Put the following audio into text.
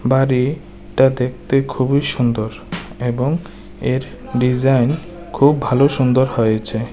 বাড়িটা দেখতে খুবই সুন্দর এবং এর ডিজাইন খুব ভালো সুন্দর হয়েছে।